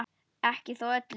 Ekki þó öllum.